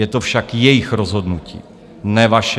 Je to však jejich rozhodnutí, ne vaše.